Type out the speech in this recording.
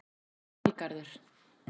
Valgarður